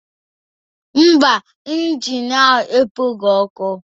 Mba, injin ahụ ekpoghị ọkụ